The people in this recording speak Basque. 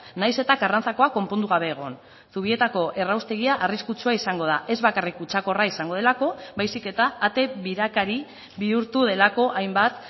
nahiz eta karrantzakoa konpondu gabe egon zubietako erraustegia arriskutsua izango da ez bakarrik kutsakorra izango delako baizik eta ate birakari bihurtu delako hainbat